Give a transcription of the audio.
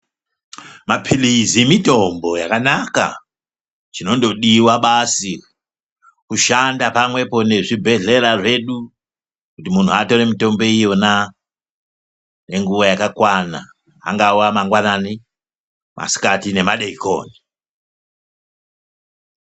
"Mapirizi mitombo yakanaka!" Chinongodiwa basi kushanda pamwepo nezvibhedhlera zvedu kuti muntu atore mitombo iyona nenguwa yakakwana, angava mangwanani, masikati nemadekoni.